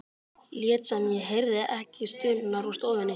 Lét sem ég heyrði ekki stunurnar úr stofunni.